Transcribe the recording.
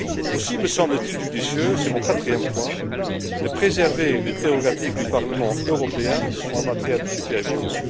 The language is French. Aussi me semble t il judicieux, c'est mon quatrième point, de préserver les prérogatives du Parlement européen en matière de supervision.